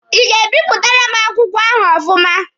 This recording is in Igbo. Ị ga-ebipụtara m akwụkwọ ahụ ọfụma?